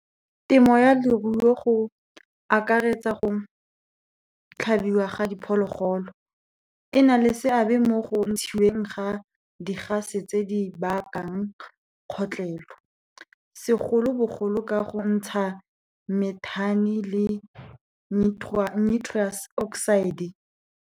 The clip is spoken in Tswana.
Temo ya leruo go akaretsa go tlhabiwa ga diphologolo. E na le seabe mo go ntshiweng ga di-gas-e tse di bakang kgotlhelo, segolobogolo ka go ntsha methane le nitrous oxide.